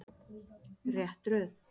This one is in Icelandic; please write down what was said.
Rétt röð.